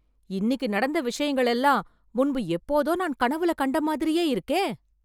இன்னிக்கு நடந்த விஷயங்கள் எல்லாம், முன்பு எப்போதோ, நான் கனவுல கண்ட மாதிரியே இருக்கே...